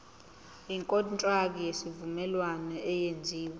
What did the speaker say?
ikontraki yesivumelwano eyenziwe